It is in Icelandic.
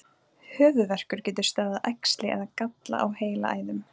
Höfuðverkur getur stafað af æxli eða galla á heilaæðum.